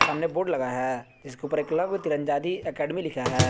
सामने बोर्ड लगाया है जिसके ऊपर एकलव्य तीरंदाजी एकेडमी लिखा है।